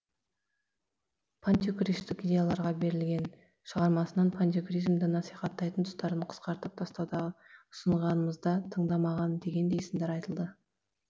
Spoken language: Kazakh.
пантюркистік идеяларға берілген шығармасынан пантюркизмді насихаттайтын тұстарын қысқартып тастауда ұсынғанымызда тыңдамаған дегендей сындар айтылды